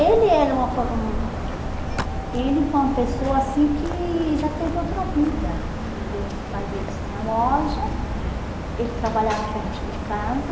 Ele era uma hum... Ele foi uma pessoa assim que já teve outra vida, porque os pais deles tinham loja, uhum, ele trabalhava pertinho de casa,